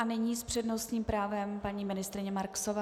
A nyní s přednostním právem paní ministryně Marksová.